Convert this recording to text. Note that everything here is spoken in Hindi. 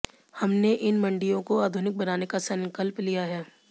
हमने इन मण्डियों को आधुनिक बनाने का संकल्प लिया है